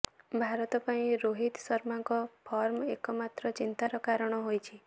ଭାରତ ପାଇଁ ରୋହିତ ଶର୍ମାଙ୍କ ଫର୍ମ ଏକମାତ୍ର ଚିନ୍ତାର କାରଣ ହୋଇଛି